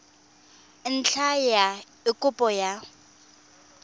ntlha ya eng kopo ya